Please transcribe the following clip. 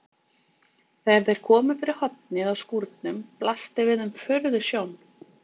Þegar þeir komu fyrir hornið á skúrnum blasti við þeim furðusjón.